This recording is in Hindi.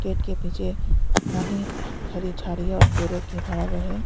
उनके पीछे घनी हरी झाड़ियां और पेड़ों के बराबर है।